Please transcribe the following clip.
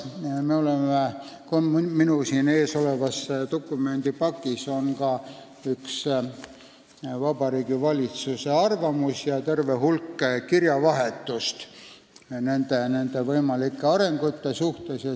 Minu ees olevas dokumendipakis on ka üks Vabariigi Valitsuse arvamus ja terve hulk kirjavahetust nende võimalike arengute üle.